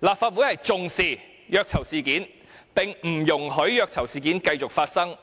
立法會重視虐囚事件，並不容許虐囚事件繼續發生。